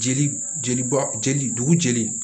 Jeli jeliba jeli dugu jeli